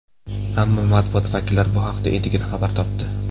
Ammo matbuot vakillari bu haqda endigina xabar topdi.